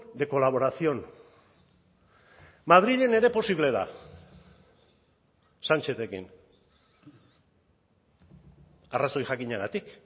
de colaboración madrilen ere posible da sanchezekin arrazoi jakinagatik